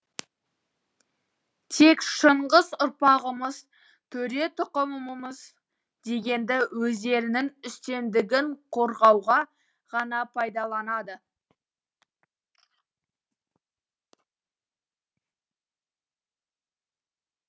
тек шыңғыс ұрпағымыз төре тұқымымыз дегенді өздерінің үстемдігін қорғауға ғана пайдаланады